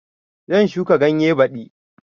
Zan shuka ganye baɗi